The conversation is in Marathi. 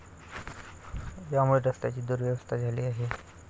यामुळे रस्त्यांची दुरवस्था झाली आहे.